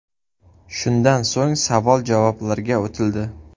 Shundan so‘ng savol-javoblarga o‘tildi.